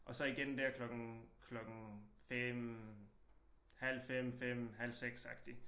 Og så igen der klokken klokken 5 halv 5 5 halv 6 agtig